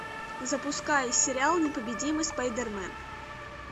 запускай сериал непобедимый спайдермен